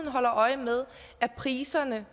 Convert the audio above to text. holder øje med om priserne